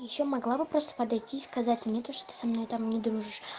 ещё могла бы просто подойти и сказать не то что ты со мной там не дружишь